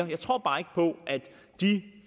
jeg tror bare ikke på at de